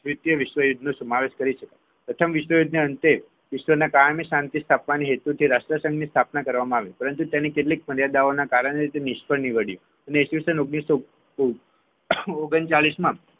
દ્વિતીય વિશ્વયુદ્ધ નો સમાવેશ કરીશું પ્રથમ વિશ્વયુદ્ધના અંતે વિશ્વ કાયમી શાંતિ સ્થાપવાના હેતુથી રાષ્ટ્રધનની સ્થાપના કરવામાં આવી પરંતુ તેની કેટલીક મર્યાદાઓના કારણે તે નિષ્ફળ નીવડ્યુ ઈસવીસન ઓગણીસો ઓગણચાલીસ